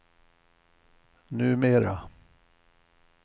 numera